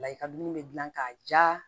Layini bɛ dilan k'a ja